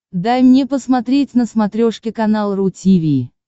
дай мне посмотреть на смотрешке канал ру ти ви